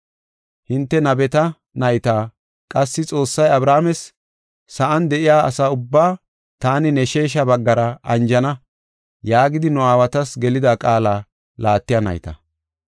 Hinte nabeta nayta; qassi Xoossay Abrahaames, ‘Sa7an de7iya asa ubbaa taani ne sheesha baggara anjana’ yaagidi nu aawatas gelida qaala laattiya nayta.